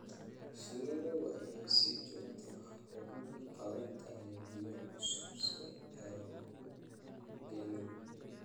Shinnidu waxay si joogto ah ugu baahan tahay biyo cusub si aanay u engegin.